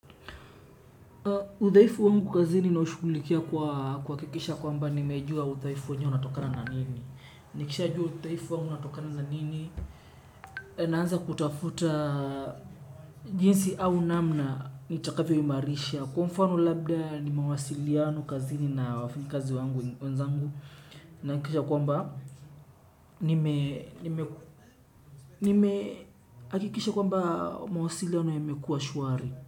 Uthaifu wangu kazini naushukulikia kwakikisha kwamba nimejua uthaifu wenyewe unatokana na nini. Nikisha juu uthaifu wangu unatokana na nini. Naanza kutafuta jinsi au namna nitakavyoyimarisha. Kwa mfano labda ni mawasiliano kazini na wafanyi kazi wangu wenzangu. Nakikisha kwamba nimeakikisha kwamba mawasiliano yamekua shuari.